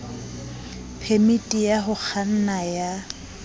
phemiti ya ho kganna ya